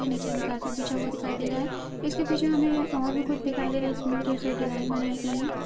यहाँ नीचे हमे कार्पेट बिछा हुआ दिखाई दे रहा है इसके पीछे हमे और भी कुछ दिखाई दे रहा है जिसमे भी ढेर सारी डिज़ाइन बनाई गयी हैं।